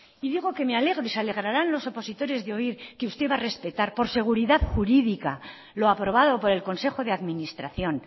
y digo que me alegro y se alegrarán los opositores de oír que usted va a respetar por seguridad jurídica lo aprobado por el consejo de administración